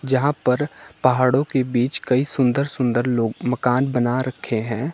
यहां पर पहाड़ों के बीच कई सुंदर सुंदर लोग मकान बना रखे हैं।